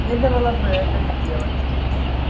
следовало бы это сделать